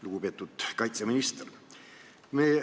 Lugupeetud kaitseminister!